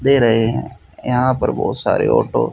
दे रहे हैं यहां पर बहुत सारे ऑटो --